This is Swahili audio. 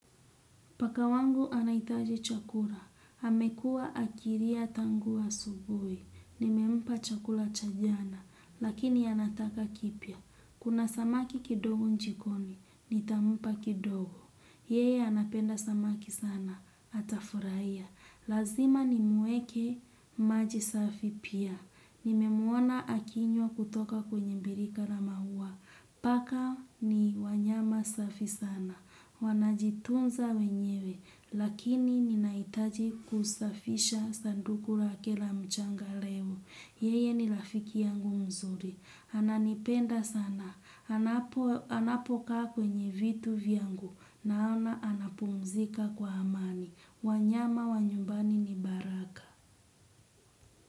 Paka wangu anahitaji chakula, amekua akilia tangu asubuhi, nimempa chakula cha jana, lakini anataka kipya. Kuna samaki kidogo jikoni, nitampa kidogo. Yeye anapenda samaki sana, atafurahia. Lazima nimueke, maji safi pia. Nimemwona akinywa kutoka kwenye birika la maua. Paka ni wanyama safi sana. Wanajitunza wenyewe, lakini ninahitaji kusafisha sanduku lake la mchanga leo. Yeye ni rafiki yangu mzuri. Ananipenda sana. Anapokaa kwenye vitu vyangu. Naona anapumzika kwa amani. Wanyama wa nyumbani ni baraka.